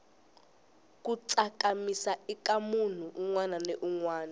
ku tsakamisa ika munhu unwana ni unwana